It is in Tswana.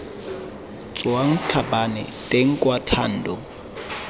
tswang tlhabane teng kwa thando